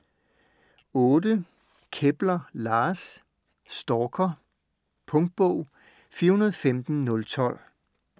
Kepler, Lars: Stalker Punktbog 415012